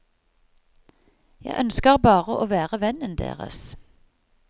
Jeg ønsker bare å være vennen deres.